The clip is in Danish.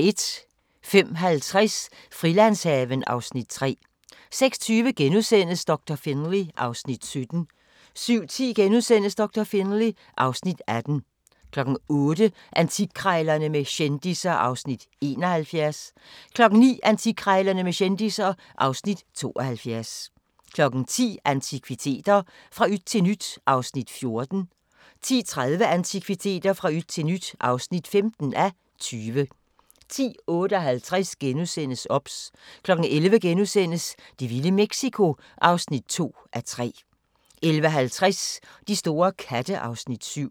05:50: Frilandshaven (Afs. 3) 06:20: Doktor Finlay (Afs. 17)* 07:10: Doktor Finlay (Afs. 18)* 08:00: Antikkrejlerne med kendisser (Afs. 71) 09:00: Antikkrejlerne med kendisser (Afs. 72) 10:00: Antikviteter – fra yt til nyt (14:20) 10:30: Antikviteter – fra yt til nyt (15:20) 10:58: OBS * 11:00: Det vilde Mexico (2:3)* 11:50: De store katte (Afs. 7)